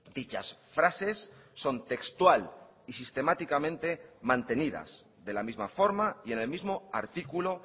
dichas frases son textual y sistemáticamente mantenidas de la misma forma y en el mismo artículo